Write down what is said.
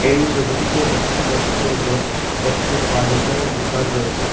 এই ছবিটিতে দেখা যাচ্ছে যে একটি ফার্নিচারের দুকান রয়েছে।